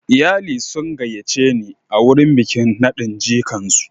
Iyali sun gayyace ni wurin bikin nadin jikan su.